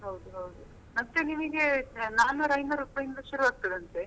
ಹೌದೌದು ಮತ್ತೆ ನಿಮಗೆ ನಾಲ್ಕ್ನೂರು ಐನೂರು ರೂಪಾಯಿಯಿಂದ ಶುರು ಆಗ್ತದೆ ಅಂತೆ